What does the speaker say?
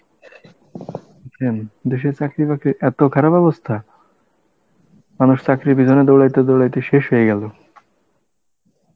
দেশের চাকরি বাকরির এত খারাপ অবস্থা, মানুষ চাকরির পিছনে দৌড়াইতে দৌড়াইতে শেষ হয়ে গেল